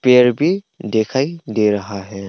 फिर भी दिखाई दे रहा है।